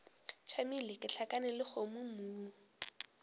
tšamile ke gahlana le dikgomommuu